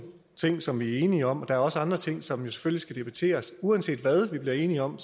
ting som vi er enige om og der er også andre ting som jo skal debatteres uanset hvad vi bliver enige om